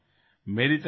ৰিপুদমনঃ হয় ছাৰ